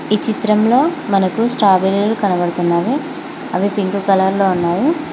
ఈ చిత్రంలో మనకు స్ట్రాబెరీలు కనబడుతున్నావి అవి పింక్ కలర్ లో ఉన్నాయి.